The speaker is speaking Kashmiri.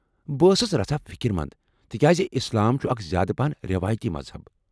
بہٕ ٲسٕس رژھا فکر منٛد، تکیاز اسلام چھٗ اکھ زیادٕ پاہن رٮ۪وٲیتی مذہب۔